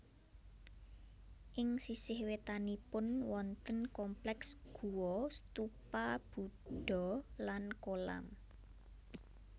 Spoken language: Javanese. Ing sisih wétanipun wonten kompleks guwa stupa Budha lan kolam